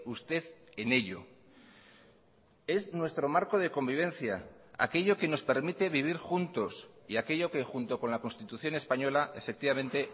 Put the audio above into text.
usted en ello es nuestro marco de convivencia aquello que nos permite vivir juntos y aquello que junto con la constitución española efectivamente